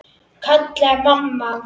kallaði mamma.